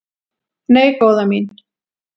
"""Nei, góða mín."""